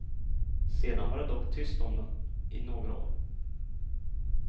Sedan var det dock tyst om dem i några år.